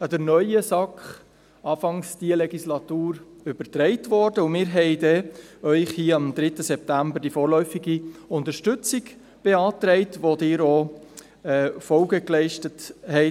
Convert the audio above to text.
Sie wurde dann Anfang diese Legislatur an die neue SAK übertragen, und wir stellten Ihnen hier am 3. September Antrag auf vorläufige Unterstützung, dem Sie auch mit grossem Mehr Folge leisteten.